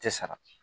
Tɛ sara